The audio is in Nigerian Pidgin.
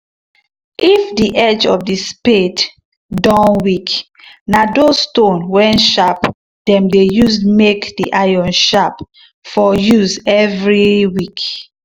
if the edge of the spade doh weak na those stone wen sharp dem dey use make the iron sharp for use every weak.